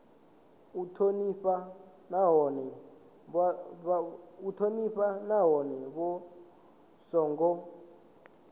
u thonifha nahone vha songo